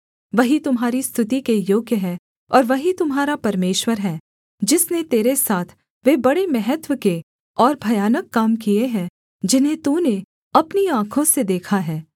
वही तुम्हारी स्तुति के योग्य है और वही तुम्हारा परमेश्वर है जिसने तेरे साथ वे बड़े महत्त्व के और भयानक काम किए हैं जिन्हें तूने अपनी आँखों से देखा है